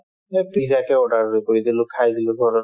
মই pizza কে order কৰি দিলো খাই দিলো ঘৰত